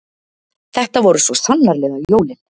Þetta voru svo sannarlega jólin